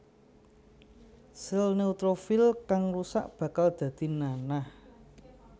Sèl neutrofil kang rusak bakal dadi nanah